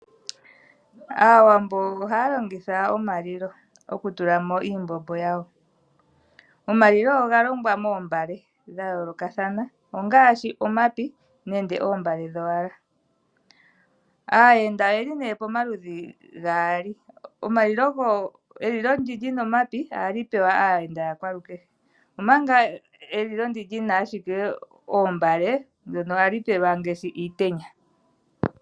Aawambo ohaya longitha omalilo oku tulamo iimbombo yawo. Omalilo oga longwa moombale dhayoolokathana ongaashi omapi nenge oombale dhowala. Aayenda oyeli nee pomaludhi gaali, elilo ndi lyina omapi, ohali pewa aayenda yakwalukehe, omanga elilo ndi lyina ashike oombale ndyono ohali pelwa ngaashi iitenya.